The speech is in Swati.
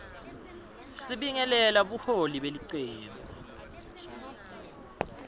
sibingelela buholi belicembu